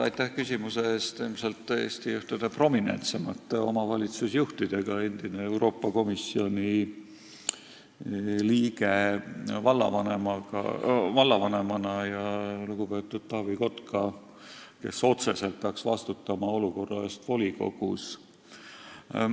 Viimsis on tegemist ilmselt Eesti ühtede kõige prominentsemate omavalitsusjuhtidega: endine Euroopa Komisjoni liige on vallavanem ja lugupeetud Taavi Kotka peaks otseselt vastutama olukorra eest volikogus.